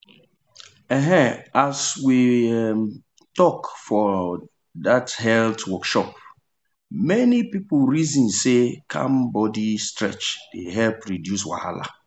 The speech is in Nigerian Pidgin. um as we um talk for um health workshop many people reason say calm body stretch dey help reduce wahala.